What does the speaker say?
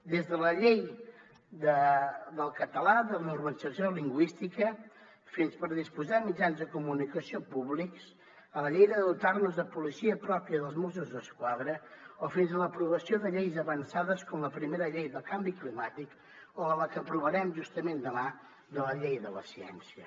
des de la llei del català de normalització lingüística fins per disposar de mitjans de comunicació públics a la llei de dotar nos de policia pròpia dels mossos d’esquadra o fins a l’aprovació de lleis avançades com la primera llei del canvi climàtic o de la que aprovarem justament demà la llei de la ciència